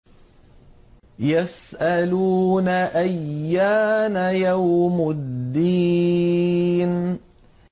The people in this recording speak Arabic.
يَسْأَلُونَ أَيَّانَ يَوْمُ الدِّينِ